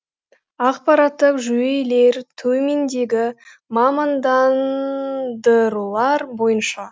ақпараттық жүйелер төмендегі мамандандырулар бойынша